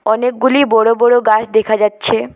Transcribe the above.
অনেকগুলি বড় বড় গাস দেখা যাচ্ছে।